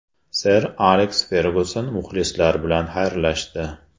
Ser Aleks Fergyuson muxlislar bilan xayrlashdi.